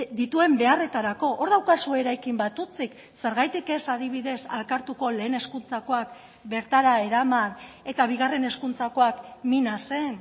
dituen beharretarako hor daukazue eraikin bat hutsik zergatik ez adibidez alkartuko lehen hezkuntzakoak bertara eraman eta bigarren hezkuntzakoak minasen